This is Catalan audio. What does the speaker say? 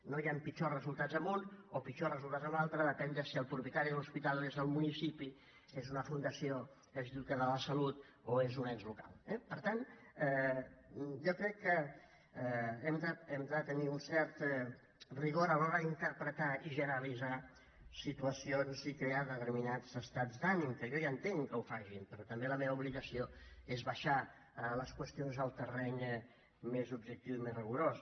no hi han pitjors resultats en un o pitjors resultats en un altre depenent de si el propietari de l’hospital és el municipi és una fundació és l’institut català de la salut o és un ens local eh per tant jo crec que hem de tenir un cert rigor a l’hora d’interpretar i generalitzar situacions i crear determinats estats d’ànim que jo ja entenc que ho facin però també la meva obligació és baixar les qüestions al terreny més objectiu i més rigorós